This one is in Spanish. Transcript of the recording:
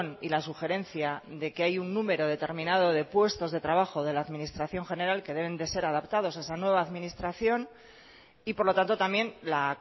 y la sugerencia de que hay un número determinado de puestos de trabajo de la administración general que deben de ser adaptados a esa nueva administración y por lo tanto también la